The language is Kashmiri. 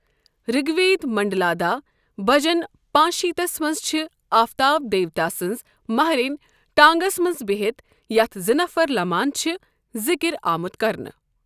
رِگ وید منڈلا داہ، بھجن پانٛژٕ شیٖتس منٛز چھِ آفتاب دیوتا سٕنٛز مہرٮ۪نۍ ٹانٛگَس منٛز بِہِتھ یَتھ زٕ نَفر لَمان چھِ ذکر آمُت کرنہٕ۔